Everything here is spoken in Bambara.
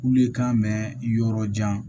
Kule kan mɛn yɔrɔ jan